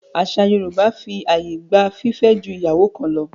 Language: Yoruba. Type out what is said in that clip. Àṣà Yorùbá fi àyè gba fífẹ́ ju ìyàwó kan lọ.